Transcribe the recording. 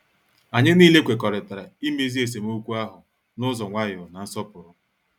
Anyị nile kwekọrịtara imezi esemokwu ahụ n ụzọ nwayọ na nsọpụrụ.